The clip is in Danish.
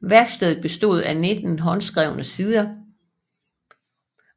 Værket bestod af 19 håndskrevne sider